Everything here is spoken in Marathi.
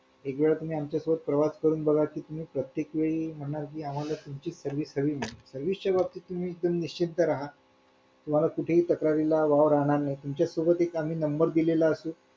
Bank वर depend ते